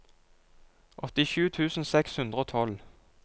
åttisju tusen seks hundre og tolv